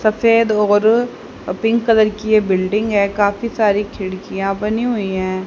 सफेद और pink colour की ये बिल्डिंग है काफी सारी खिड़कियां बनी हुई है।